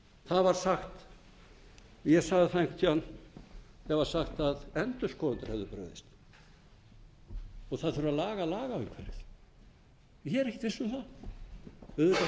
það var sagt ég sagði það einhvern tíma þegar var sagt að endurskoðendur hefðu brugðist og að það þurfi að laga lagaumhverfið ég er ekkert viss um